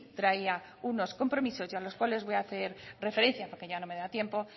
traía unos compromisos y a los cuales voy a hacer referencia porque ya no me da tiempo